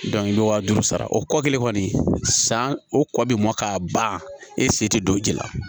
i bɛ waa duuru sara o kɔ kelen kɔni san o kɔ bi mɔ k'a ban e se tɛ don ji la